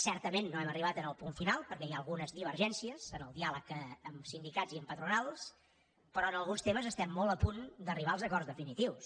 certament no hem arribat al punt final perquè hi ha algunes divergències en el diàleg amb sindicats i amb patronals però en alguns temes estem molt a punt d’arribar als acords definitius